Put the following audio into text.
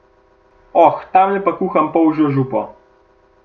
Oh, tamle pa kuham polžjo župo.